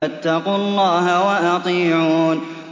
فَاتَّقُوا اللَّهَ وَأَطِيعُونِ